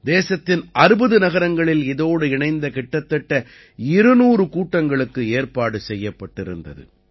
தேசத்தின் 60 நகரங்களில் இதோடு இணைந்த கிட்டத்தட்ட 200 கூட்டங்களுக்கு ஏற்பாடு செய்யப்பட்டிருந்தது